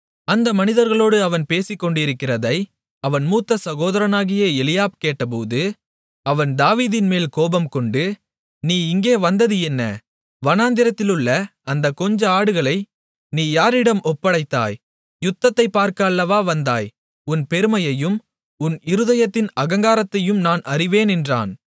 அந்த மனிதர்களோடு அவன் பேசிக்கொண்டிருக்கிறதை அவன் மூத்த சகோதரனாகிய எலியாப் கேட்டபோது அவன் தாவீதின்மேல் கோபம் கொண்டு நீ இங்கே வந்தது என்ன வனாந்திரத்திலுள்ள அந்தக் கொஞ்ச ஆடுகளை நீ யாரிடம் ஒப்படைத்தாய் யுத்தத்தைப் பார்க்க அல்லவா வந்தாய் உன் பெருமையையும் உன் இருதயத்தின் அகங்காரத்தையும் நான் அறிவேன் என்றான்